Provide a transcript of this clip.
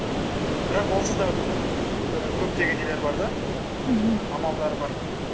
бірақ онсыз да ііі көптеген нелер бар да мхм амалдар бар